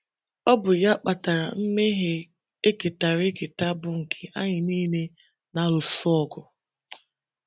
Ọ bụ ya kpatara mmehie e ketara eketa bụ́ nke anyị niile na - alụso ọgụ.